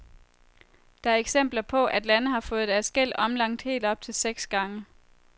Der er eksempler på, at lande har fået deres gæld omlagt helt op til seks gange.